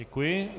Děkuji.